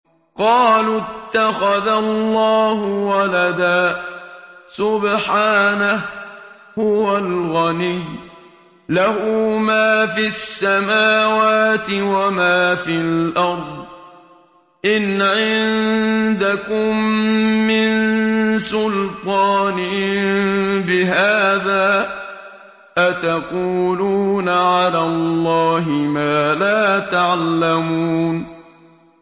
قَالُوا اتَّخَذَ اللَّهُ وَلَدًا ۗ سُبْحَانَهُ ۖ هُوَ الْغَنِيُّ ۖ لَهُ مَا فِي السَّمَاوَاتِ وَمَا فِي الْأَرْضِ ۚ إِنْ عِندَكُم مِّن سُلْطَانٍ بِهَٰذَا ۚ أَتَقُولُونَ عَلَى اللَّهِ مَا لَا تَعْلَمُونَ